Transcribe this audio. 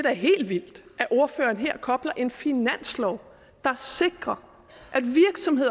er helt vildt at ordføreren her at kobler en finanslov der sikrer